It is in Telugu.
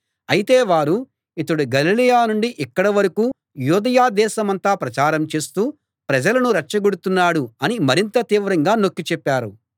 అయితే వారు ఇతడు గలిలయ నుండి ఇక్కడ వరకూ యూదయ దేశమంతా ప్రచారం చేస్తూ ప్రజలను రెచ్చగొడుతున్నాడు అని మరింత తీవ్రంగా నొక్కి చెప్పారు